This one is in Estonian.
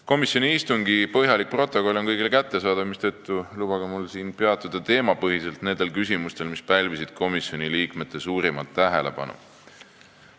Komisjoni istungi põhjalik protokoll on kõigile kättesaadav, mistõttu lubage mul siinkohal peatuda teemapõhiselt nendel küsimustel, mis pälvisid komisjoni liikmete suurimat tähelepanu.